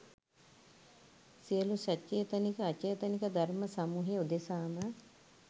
සියලු සචේතනික අචේතනික ධර්ම සමූහය උදෙසා ම